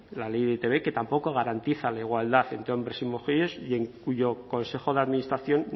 la ley de e i te be que tampoco garantiza la igualdad entre hombres y mujeres y en cuyo consejo de administración